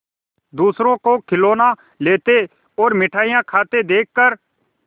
दूसरों को खिलौना लेते और मिठाई खाते देखकर